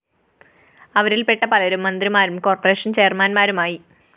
അവരില്‍പ്പെട്ട പലരും മന്ത്രിമാരും കോർപ്പറേഷൻ ചെയര്‍മാന്‍മാരും ആയി